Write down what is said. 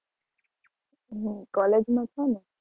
હમ college માં છે ને